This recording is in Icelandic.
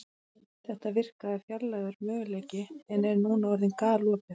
Þetta virkaði fjarlægur möguleiki en er núna orðið galopið.